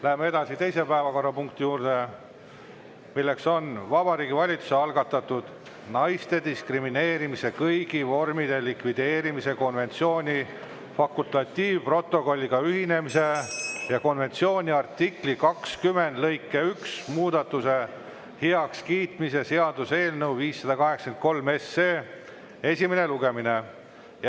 Läheme edasi teise päevakorrapunkti juurde, milleks on Vabariigi Valitsuse algatatud naiste diskrimineerimise kõigi vormide likvideerimise konventsiooni fakultatiivprotokolliga ühinemise ja konventsiooni artikli 20 lõike 1 muudatuse heakskiitmise seaduse eelnõu 583 esimene lugemine.